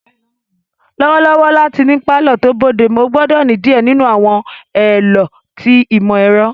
Lọwọlọwọ lati ni palọ to bodemu, o gbọdọ ni diẹ ninu àwọn ẹlọ ti imọ-ẹrọ.